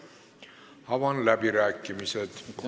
Avan läbirääkimised.